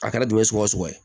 A kɛra dunɛ ye sugu o sugu ye